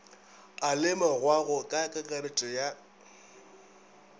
a lemogwago ka kakaretšo ya